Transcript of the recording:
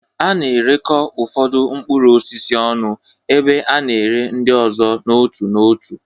A na-erekọ ụfọdụ mkpụrụ osisi ọnụ, ebe a na-ere ndị ọzọ n'otu n'otu.